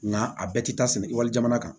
Nka a bɛɛ tɛ taa sɛnɛ ekɔli jamana kan